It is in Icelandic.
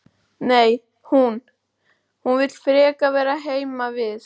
Nei, hún. hún vill frekar vera heima við.